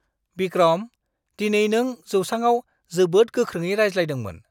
बिक्रम! दिनै नों जौसाङाव जोबोद गोख्रोङै रायज्लायदोंमोन।